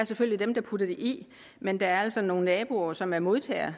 selvfølgelig dem der putter det i men der er altså nogle naboer som er modtagere